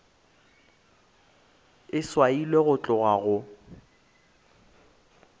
e swailwe go tloga go